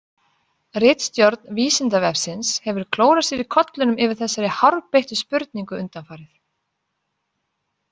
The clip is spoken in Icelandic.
Ritstjórn Vísindavefsins hefur klórað sér í kollinum yfir þessari hárbeittu spurningu undanfarið.